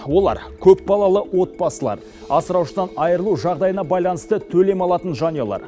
олар көпбалалы отбасылар асыраушысынан айырылу жағдайына байланысты төлем алатын жанұялар